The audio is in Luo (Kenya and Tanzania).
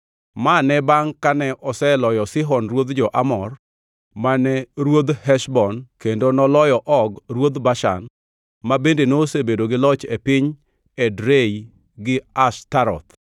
Ma ne bangʼ kane oseloyo Sihon ruodh jo-Amor mane ruodh Heshbon kendo noloyo Og ruodh Bashan, ma bende nosebedo gi loch e piny Edrei gi Ashtaroth.